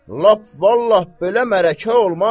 Lap vallah belə mələkə olmaz.